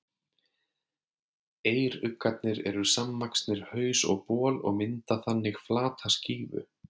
Eyruggarnir eru samvaxnir haus og bol og mynda þannig flata skífu.